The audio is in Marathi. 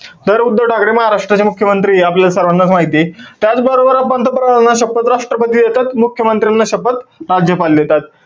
तर उद्धव ठाकरे महाराष्ट्राचे मुख्यमंत्रीय हे आपल्या सर्वांनाच माहितीय. त्याचबरोबर आपण पंतप्रधानांना शपथ राष्ट्रपती देतात. मुख्यमंत्र्यांना शपथ राज्यपाल देतात.